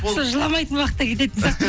сол жыламайтын уақытта кететін сияқтымын